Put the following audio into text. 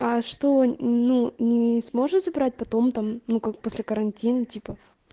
а что ну не сможет забрать потом там ну как после карантина типа